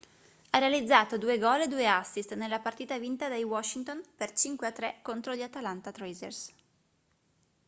ha realizzato 2 gol e 2 assist nella partita vinta dai washington per 5-3 contro gli atlanta thrashers